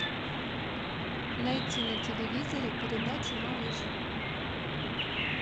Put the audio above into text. найти на телевизоре передачу малыш